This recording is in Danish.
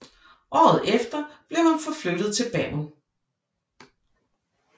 Året efter blev han forflyttet til Bergen